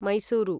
Mysuru